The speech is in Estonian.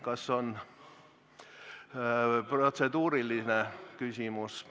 Kas on protseduuriline küsimus?